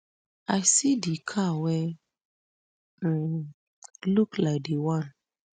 i see di car wey um look like di one